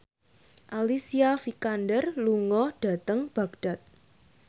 Alicia Vikander lunga dhateng Baghdad